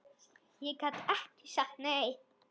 Ég gat ekki sagt nei.